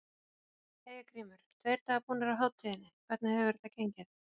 Hjörtur: Jæja Grímur, tveir dagar búnir af hátíðinni, hvernig hefur þetta gengið?